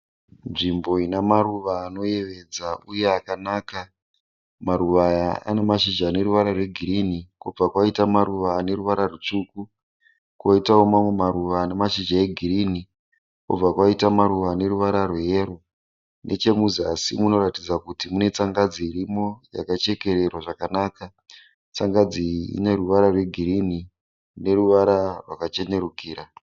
Nzvimbo inemaruva anoyevedza uye akanaka. Maruva aya anemashizha aneruvara rwegirini kobva kwaita maruva aneruvara rutsvuku. Koitawo mamwe maruva anemashizha egirini, kobva kwaita maruvara aneruvara rweyero. Nechemuzasi munoratidza kuti munetsangadzi irimo yakachekererwa zvakanaka. Tsangadzi iyi ineruvara rwegirini neruvara rwakachenerukira.